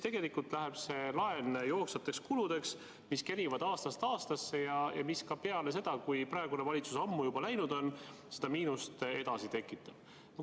Tegelikult läheb see laen jooksvateks kuludeks, mis kerivad aastast aastasse ja mis ka peale seda, kui praegune valitsus ammu juba läinud on, seda miinust edasi tekitab.